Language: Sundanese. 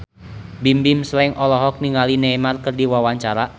Bimbim Slank olohok ningali Neymar keur diwawancara